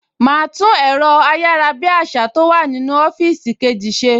Màá tún ẹ̀rọ ayárabíàṣá tó wà nínú ọ́fíìsì kejì ṣe